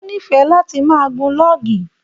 O n'ifẹ láti máa gùn lọọgì.